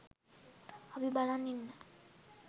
අපි බලන් ඉන්න